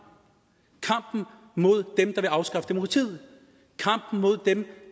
mod dem der vil afskaffe demokratiet kampen mod dem